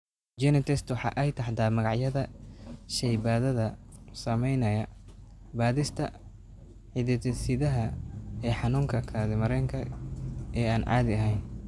GeneTests waxa ay taxdaa magacyada shaybaadhada samaynaya baadhista hidde-sidaha ee xanuunka kaadi mareenka ee aan caadi ahayn.